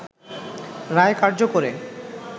রায় কার্যকরে